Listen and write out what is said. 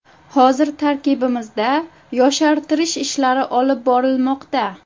Hozir tarkibimizda yoshartirish ishlari olib borilmoqda.